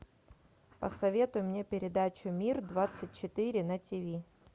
посоветуй мне передачу мир двадцать четыре на тв